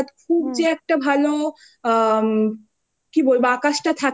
জানিস জানুয়ারী ফেব্রুয়ারী মার্চ নাগাদ খুব যে একটা ভালো আ কি বলব